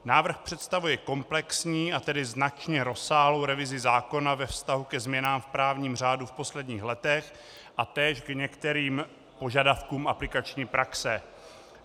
Návrh představuje komplexní, a tedy značně rozsáhlou revizi zákona ve vztahu ke změnám v právním řádu v posledních letech a též k některým požadavkům aplikační praxe.